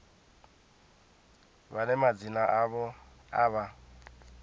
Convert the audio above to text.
vhane madzina avho a vha